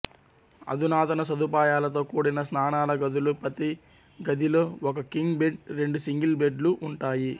అధునాతన సదుపాయాలతో కూడిన స్నానాల గదులు ప్రతీ గదిలో ఒక కింగ్ బెడ్ రెండు సింగిల్ బెడ్లు ఉంటాయి